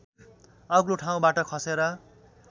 अग्लो ठाउँबाट खसेर